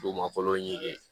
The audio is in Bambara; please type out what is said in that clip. Dugumakolo ɲini